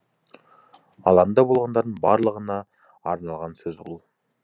алаңда болғандардың барлығына арналған сөз бұл